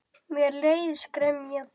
Mér leiðist gremja þín.